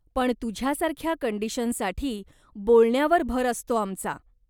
पण तुझ्यासारख्या कंडीशनसाठी, बोलण्यावर भर असतो आमचा.